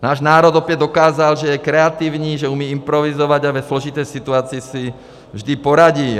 Náš národ opět dokázal, že je kreativní, že umí improvizovat a ve složité situaci si vždy poradí.